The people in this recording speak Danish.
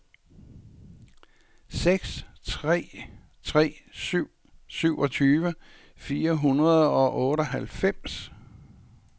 seks tre tre syv syvogtyve fire hundrede og otteoghalvfems